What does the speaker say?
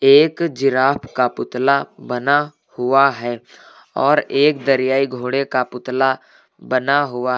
एक जिराफ का पुतला बना हुआ है और एक दरियाई घोड़े का पुतला बना हुआ--